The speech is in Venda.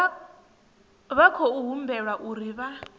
vha khou humbelwa uri vha